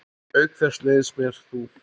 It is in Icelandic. Auk þess leiðist mér þú.